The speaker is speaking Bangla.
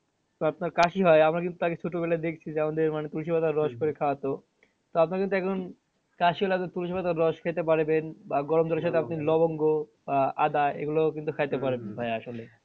তো আপনার কাশি হয় আমরা কিন্তু আগে ছোটবেলায় দেখছি যে আমাদের মানে কচুপাতার করে খাওয়াতো তো আপনাদের দেখলাম কাশি হলে কচুপাতার রস খেতে পারবেন বা গরম সাথে আপনি লবঙ্গ আহ আদা এগুলোও কিন্তু খাইতে পারবেন ভাইয়া আসলে।